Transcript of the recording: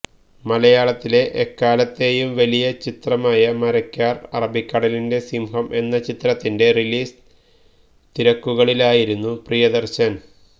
മലയാളത്തിലെ എക്കാലത്തേയും വലിയ ചിത്രമായ മരക്കാർ അറബിക്കടലിന്റെ സിംഹം എന്ന ചിത്രത്തിന്റെ റിലീസ് തിരക്കുകളിലായിരുന്നു പ്രിയദർശൻ